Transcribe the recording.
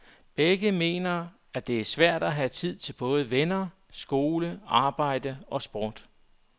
Begge mener, det er svært at have tid til både venner, skole, arbejde og sport.